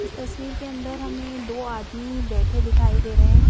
इस तस्वीर के अंदर हमें दो आदमी बैठे दिखाई दे रहे है।